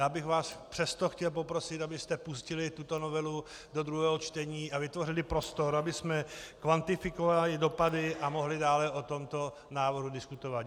Já bych vás přesto chtěl poprosit, abyste pustili tuto novelu do druhého čtení a vytvořili prostor, abychom kvantifikovali dopady a mohli dále o tomto návrhu diskutovat.